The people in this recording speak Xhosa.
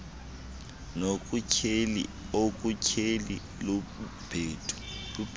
nokutyheli okutyheli lubhelu